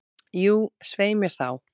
Jú, svei mér þá.